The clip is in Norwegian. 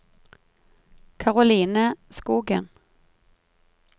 Karoline Skogen